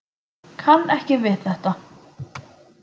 Kann ekki við þetta.